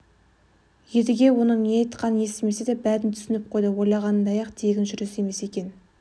едіге оның не айтқанын естімесе де бәрін түсініп қойды ойлағанындай-ақ тегін жүріс емес екен